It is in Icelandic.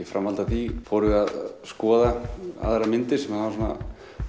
framhaldi af því fórum við að skoða aðrar myndir sem hann var